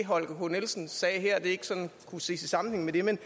holger k nielsen sagde her ikke sådan kunne ses i sammenhæng med det men